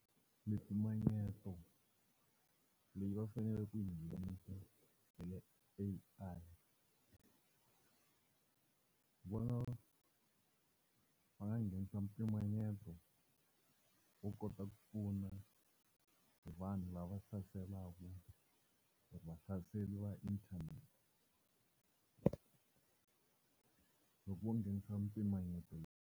Mimpimanyeto leyi va faneleke ku yi nghenisa i A_I. Ni vona va nga nghenisa mpimanyeto u kota ku pfuna vanhu lava hlaseriwaka hi inthanete loko vo nghenisa mpimanyeto.